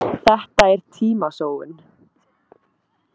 Þetta er tímasóun